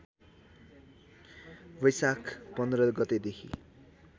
वैशाख १५ गतेदेखि